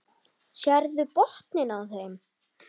Sérðu botninn á þeim.